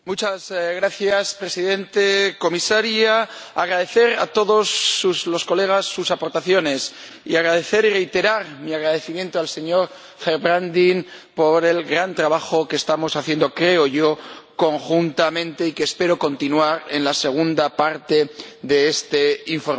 Señor Presidente, señora Comisaria, deseo agradecer a todos los colegas sus aportaciones y agradecer y reiterar mi agradecimiento al señor Gerbrandy por el gran trabajo que estamos haciendo, creo yo, conjuntamente, y que espero continuar en la segunda parte de este informe.